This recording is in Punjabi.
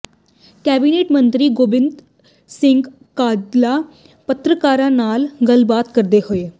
ਕੈਬਨਿਟ ਮੰਤਰੀ ਗੋਬਿੰਦ ਸਿੰਘ ਕਾਂਝਲਾ ਪੱਤਰਕਾਰਾਂ ਨਾਲ ਗੱਲਬਾਤ ਕਰਦੇ ਹੋਏ